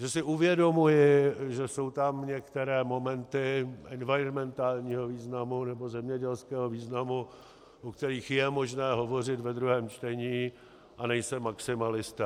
Že si uvědomuji, že jsou tam některé momenty environmentálního významu nebo zemědělského významu, o kterých je možné hovořit ve druhém čtení, a nejsem maximalista.